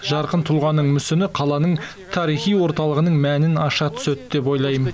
жарқын тұлғаның мүсіні қаланың тарихи орталығының мәнін аша түседі деп ойлаймын